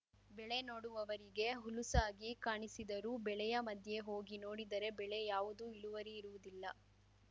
ಬೆಳೆ ನೋಡುವವರಿಗೆ ಹುಲುಸಾಗಿ ಕಾಣಿಸಿದರೂ ಬೆಳೆಯ ಮಧ್ಯೆ ಹೋಗಿ ನೋಡಿದರೆ ಬೆಳೆ ಯಾವುದು ಇಳುವರಿ ಇರುವುದಿಲ್ಲ